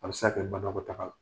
Halisa gɛlɛman ma bɔ bana la